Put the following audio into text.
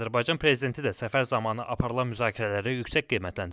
Azərbaycan Prezidenti də səfər zamanı aparılan müzakirələri yüksək qiymətləndirib.